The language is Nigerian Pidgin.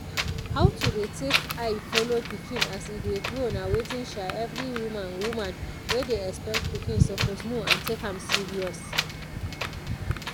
how to dey take eye follow pikin as e dey grow nah wetin every woman woman wey dey expect pikin suppose know and take am serious.